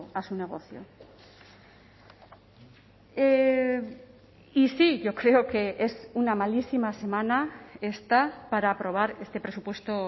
a su negocio y sí yo creo que es una malísima semana esta para aprobar este presupuesto